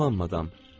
Salam madam.